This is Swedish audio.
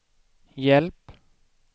hjälp